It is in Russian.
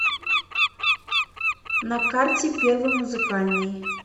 на карте первый музыкальный